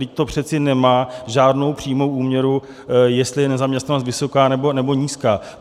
Vždyť to přece nemá žádnou přímou úměru, jestli je nezaměstnanost vysoká, nebo nízká.